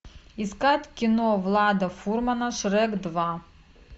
искать кино влада фурмана шрек два